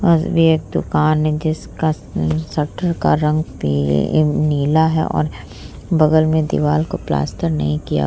और भी एक दुकान है जिसका शटर का रंग पी नीला है और बगल में दीवाल को प्लास्तर नहीं किया --